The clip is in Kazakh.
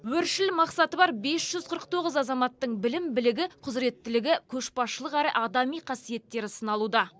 өршіл мақсаты бар бес жүз қырық тоғыз азаматтың білім білігі құзіреттілігі көшбасшылық әрі адами қасиеттері сыналуда